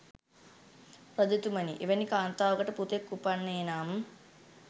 රජතුමනි, එවැනි කාන්තාවකට පුතෙක් උපන්නේ නම්